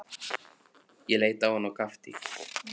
Ég leit á hann og gapti.